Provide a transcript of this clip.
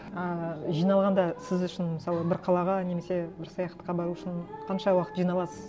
ыыы жиналғанда сіз үшін мысалы бір қалаға немесе бір саяхатқа бару үшін қанша уақыт жиналасыз